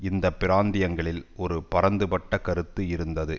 இந்த பிராந்தியங்களில் ஒரு பரந்துபட்ட கருத்து இருந்தது